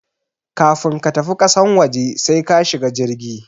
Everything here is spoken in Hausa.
Kafun ka tafi kasan waje sai ka shiga jirgi